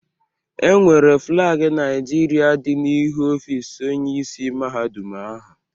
E nwere flagi Naịjirịa dị n'ihu ọfis Onyeisi Mahadum ahụ.